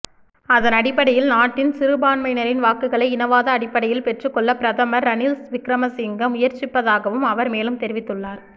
அதனடிப்படையில் நாட்டின் சிறுபான்மையினரின் வாக்குகளை இனவாத அடிப்படையில் பெற்றுக் கொள்ள பிரதமர் ரணில் விக்ரமசிங்க முயற்சிப்பதாகவும் அவர் மேலும் தெரிவித்துள்ளார்